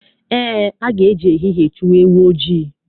Eé, a ga-eji ehihie chụwa ewu ojii.